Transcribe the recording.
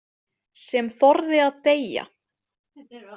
Sem þorði að deyja!